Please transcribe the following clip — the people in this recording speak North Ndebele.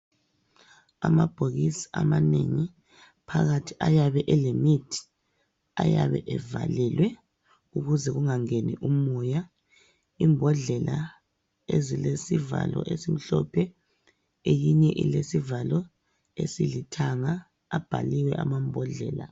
Amabhokisi amanengi phakathi ayabe elemithi, ayabe evalelwe ukuze kungangeni umoya, imbodlela ezilesivalo esimhlophe eyinye ilesivalo esilithanga, abhaliwe amambhodlela.